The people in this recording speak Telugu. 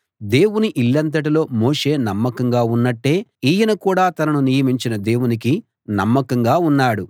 దేవుని ఇల్లంతటిలో మోషే నమ్మకంగా ఉన్నట్టే ఈయన కూడా తనను నియమించిన దేవునికి నమ్మకంగా ఉన్నాడు